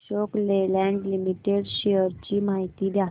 Ashok Leyland limited shares ची माहिती द्या